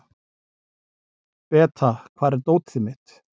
Beta, hvar er dótið mitt?